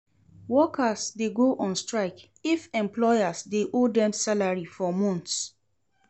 Workers de go on strike if employers de owe dem salary for months